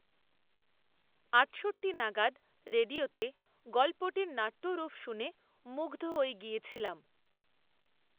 আটষট্টি নাগাদ রেডিয়োতে গল্পটির নাট্যরূপ শুনে, মুগ্ধ হয়ে গিয়েছিলাম